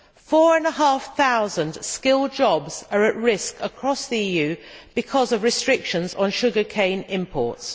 Four and a half thousand skilled jobs are at risk across the EU because of restrictions on sugar cane imports.